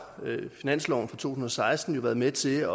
finansloven for to tusind og seksten jo været med til at